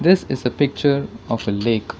This is a picture of a lake.